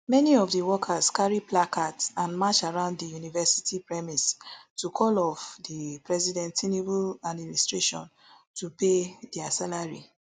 many of di workers carry placards and match around di university premises to call of di president tinubu administration to pay dia salary